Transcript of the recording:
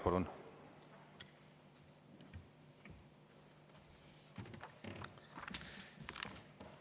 Palun!